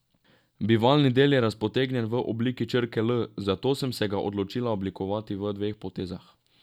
Bivalni del je razpotegnjen v obliki črke L, zato sem se ga odločila oblikovati v dveh potezah.